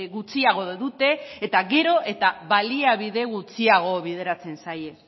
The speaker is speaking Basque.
gutxiago dute eta gero eta baliabide gutxiago bideratzen zaie